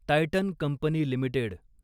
Titan company limited